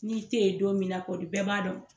N'i te yen don min na kɔni bɛɛ b'a dɔn.